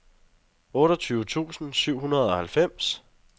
otteogtyve tusind syv hundrede og halvfems